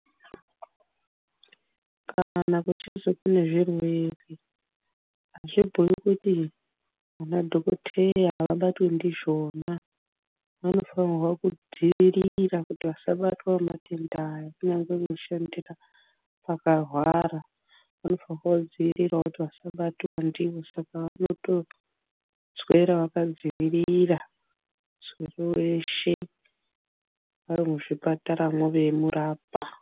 Kana kuchinzi kune zvirwere hazvibhuyi kuti ana dhokoteya havabatwi ndizvona vanofana kudzivirira kuti vasabatwa nematenda Aya kunyangwe veishandira pakawara vanofanira kudziirira kuti vasabatwa ndiwo vanotoswera vakadziirira muswero weshe vari muzvipataramo veimurapa